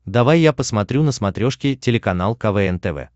давай я посмотрю на смотрешке телеканал квн тв